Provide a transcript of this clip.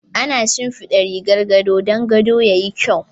Ana shinfiɗa rigar gado dan gadon yayi kyau.